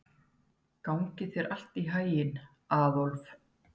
Gangi þér allt í haginn, Aðólf.